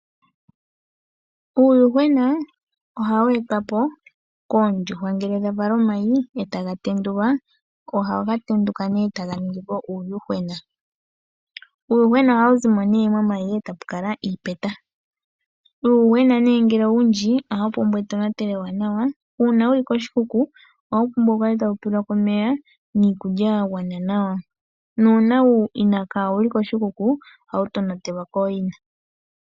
Uuyuhwena ohawu etwa po koondjuhwa ngele dha vala omayi e taga tendulwa ohaga tenduka nduno mu zi uuyuhwena. Uuyuhwena ohawu zi mo momayi e tapu kala iipeta. Uuyuhwena ngele owundji ohawu pumbwa etonatelo ewanawa. Uuna wu li koshikuku ohawu pumbwa wu kale tawu pelwa ko omeya niikulya ya gwana nawa nuuna kaawu li koshikuku ohawu tonatelwa kooyina.